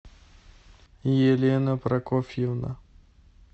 елена прокофьевна